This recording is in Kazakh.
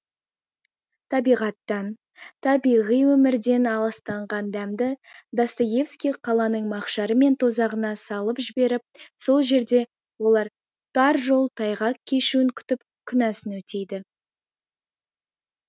табиғаттан табиғи өмірден аласталған адамды достоевский қаланың мақшары мен тозағына салып жіберіп сол жерде олар тар жол тайғақ кешуін күтіп күнәсын өтейді